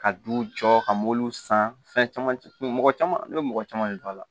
Ka duw jɔ ka mobiliw san fɛn caman mɔgɔ caman ne bɛ mɔgɔ caman de don a la